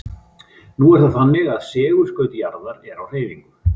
Nú er það þannig að segulskaut jarðar er á hreyfingu.